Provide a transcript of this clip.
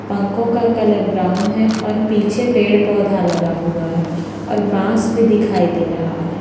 पंखों का colour brown है और पीछे पेड़-पौधा लगा हुआ है और बांस भी दिखाई दे रहा है।